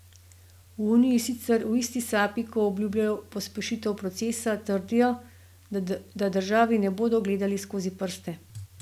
V uniji sicer v isti sapi, ko obljubljajo pospešitev procesa, trdijo, da državi ne bodo gledali skozi prste.